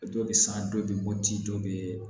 Dɔ bɛ san dɔ bɛ bɔ ji dɔ bɛ